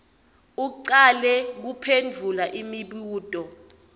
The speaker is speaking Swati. ucale kuphendvula imibuto